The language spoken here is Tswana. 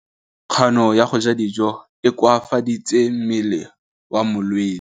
Kganô ya go ja dijo e koafaditse mmele wa molwetse.